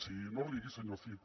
sí no rigui senyor cid